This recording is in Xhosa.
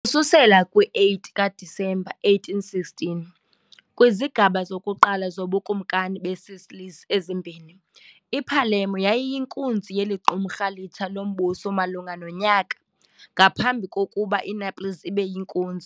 Ukususela kwi -8 kaDisemba 1816, kwizigaba zokuqala zoBukumkani beeSicilies ezimbini, i-Palermo yayiyinkunzi yeli qumrhu litsha lombuso malunga nonyaka, ngaphambi kokuba iNaples ibe yinkunzi.